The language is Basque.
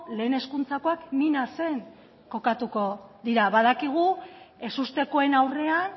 lehen hezkuntzakoak minasen kokatuko dira badakigu ezustekoen aurrean